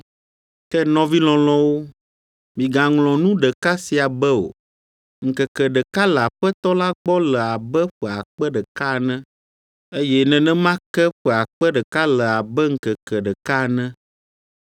Ke nɔvi lɔlɔ̃wo, migaŋlɔ nu ɖeka sia be o, ŋkeke ɖeka le Aƒetɔ la gbɔ le abe ƒe akpe ɖeka ene, eye nenema ke ƒe akpe ɖeka le abe ŋkeke ɖeka ene.